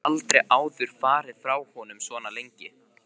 Hún hefur aldrei áður farið frá honum svona lengi.